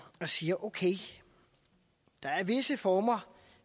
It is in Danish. og siger okay der er visse former